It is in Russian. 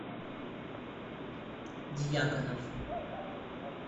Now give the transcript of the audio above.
дьяконов